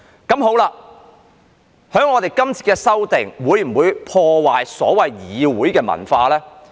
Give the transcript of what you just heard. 究竟這次修訂會否破壞議會文化呢？